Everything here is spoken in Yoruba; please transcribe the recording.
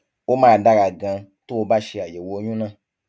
ó máa dára ganan tó o bá ṣe àyẹwò ọyún náà